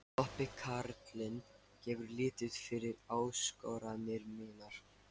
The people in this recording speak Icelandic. Klobbi karlinn gefur lítið fyrir áskoranir mínar.